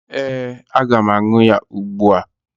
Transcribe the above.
Ee, aga m aṅụ ya ugbua.